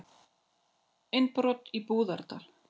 Innbrot í Búðardal